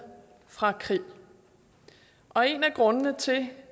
fra krig og en af grundene til